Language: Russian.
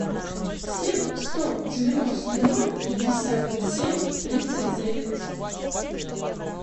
семь сто девяносто ноль пятьдесят семь тридцать девять